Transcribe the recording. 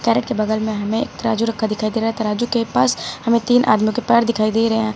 Carat के बगल में हमें एक तराजू रखा दिखाई दे रहा तराज़ू के पास हमें तीन आदमियों के पैर दिखाई दे रहें हैं।